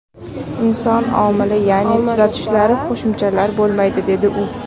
Inson omili, ya’ni tuzatishlar, qo‘shimchalar bo‘lmaydi”, dedi u.